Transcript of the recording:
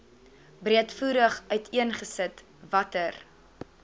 breedvoerig uiteengesit watter